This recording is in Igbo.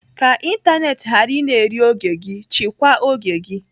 Ka ịntanetị ghara ị na-eri oge gị, chịkwa oge gị.